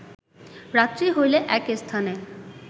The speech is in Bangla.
রাত্রি হইলে এক স্থানে